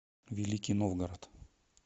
великий новгород